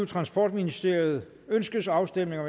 transportministeriet ønskes afstemning